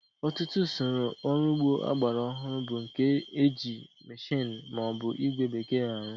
Ọtụtụ usoro ọrụ ugbo ọgbara ọhụrụ bu nke ndi e ji mmeshini ma o bu igwe bekee arụ